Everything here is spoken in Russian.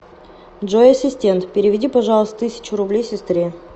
джой ассистент переведи пожалуйста тысячу рублей сестре